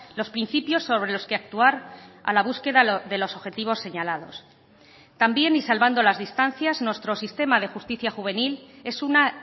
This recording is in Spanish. los principios sobre los que actuar a la búsqueda de los objetivos señalados también y salvando las distancias nuestro sistema de justicia juvenil es una